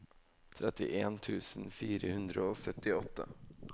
trettien tusen fire hundre og syttiåtte